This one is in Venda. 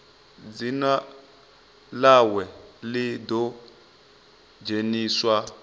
dzina ḽawe ḽi ḓo dzheniswa